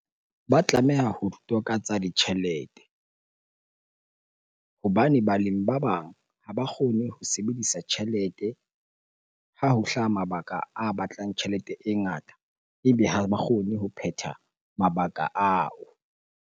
Ba tlameha ho toka tsa ditjhelete hobane balemi ba bang ha ba kgone ho sebedisa tjhelete. Ha ho hlaha mabaka a batlang tjhelete e ngata, ebe ha ba kgone ho phetha mabaka ao.